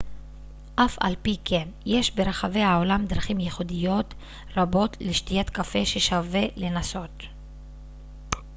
אף על פי כן יש ברחבי העולם דרכים ייחודיות רבות לשתיית קפה ששווה לנסות